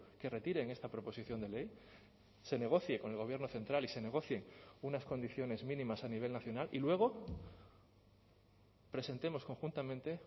que retiren esta proposición de ley se negocie con el gobierno central y se negocien unas condiciones mínimas a nivel nacional y luego presentemos conjuntamente